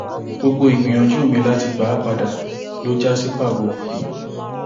gbogbo ìgbìyànjú mi láti gbà á padà ló já sí pàbó